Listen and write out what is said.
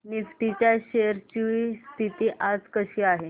Nifty च्या shares ची स्थिती आज कशी आहे